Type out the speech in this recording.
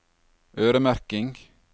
øremerking